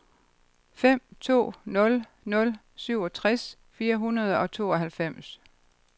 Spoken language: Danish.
fem to nul nul syvogtres fire hundrede og tooghalvfems